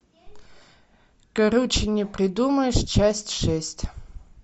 круче не придумаешь часть шесть